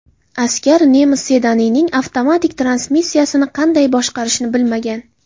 Askar nemis sedanining avtomatik transmissiyasini qanday boshqarishni bilmagan.